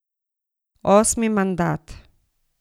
Osmi mandat.